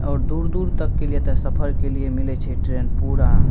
और दूर-दूर तक के लिए एता सफर के लिए मिले छै ट्रैन पूरा --